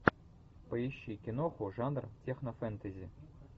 поищи киноху жанр технофэнтези